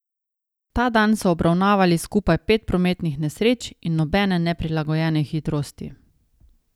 Ta dan so obravnavali skupaj pet prometnih nesreč in nobene neprilagojene hitrosti.